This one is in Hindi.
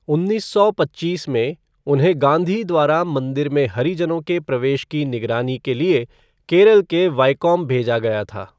उन्नीस सौ पच्चीस में, उन्हें गाँधी द्वारा मंदिर में हरिजनों के प्रवेश की निगरानी के लिए केरल के वैकोम भेजा गया था।